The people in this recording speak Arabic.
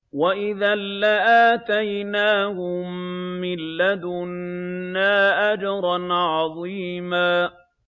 وَإِذًا لَّآتَيْنَاهُم مِّن لَّدُنَّا أَجْرًا عَظِيمًا